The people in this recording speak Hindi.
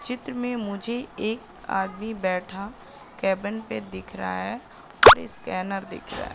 चित्र में मुझे एक आदमी बैठा केबिन पे दिख रहा है स्कैनर दिख रहा है।